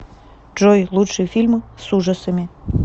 джой лучший фильм с ужасами